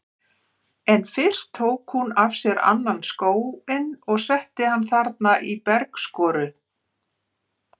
En fyrst tók hún af sér annan skóinn og setti hann þarna í bergskoru.